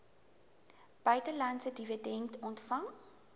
buitelandse dividende ontvang